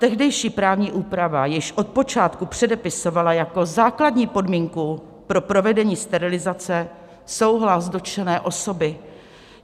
Tehdejší právní úprava již od počátku předepisovala jako základní podmínku pro provedení sterilizace souhlas dotčené osoby.